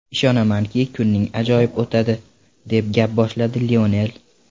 Ishonamanki, kuning ajoyib o‘tadi”, deb gap boshladi Lionel.